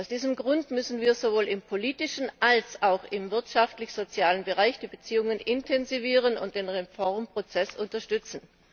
Aus diesem Grund müssen wir sowohl im politischen als auch im wirtschaftlich sozialen Bereich die Beziehungen intensivieren und den Reformprozess unterstützen.